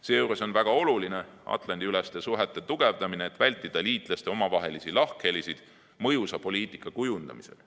Seejuures on väga oluline Atlandi-üleste suhete tugevdamine, et vältida liitlaste omavahelisi lahkhelisid mõjusa poliitika kujundamisel.